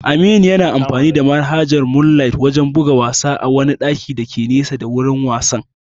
Aminu yana amfani da manhajar moonlight wajen buga wasa a wani ɗakin dake nesa da na'urar wasan.